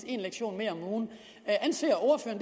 en lektion mere om ugen anser